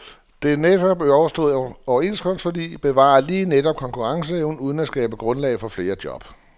De netop overståede overenskomstforlig bevarer lige netop konkurrenceevnen uden at skabe grundlag for flere job.